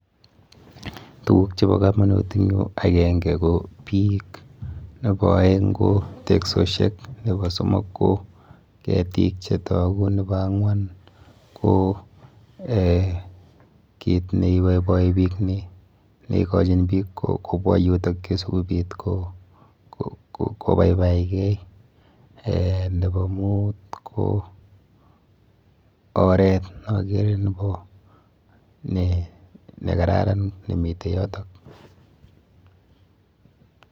Tuguk chepo komonut eng yu, akenke ko biik. Nepo aeng ko teksoshek, nepo somok ko ketik chetoku, nepo ang'wan ko eh kit neiboiboi biik neikochin biik kobwa yutokyu sikobit kobaibaikei, eh nepo mut ko oret neakere nekararan nemite yoto.